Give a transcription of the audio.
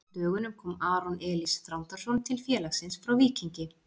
Á dögunum kom Aron Elís Þrándarson til félagsins frá Víkingi.